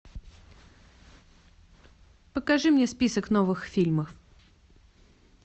покажи мне список новых фильмов